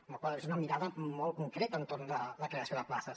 amb la qual cosa és una mirada molt concreta entorn de la creació de places